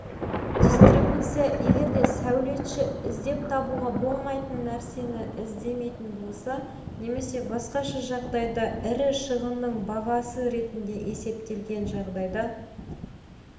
дистрибуция егерде сәулетші іздеп табуға болмайтын нәрсені іздемейтін болса немесе басқаша жағдайда ірі шығынның бағасы ретінде есептелген жағдайда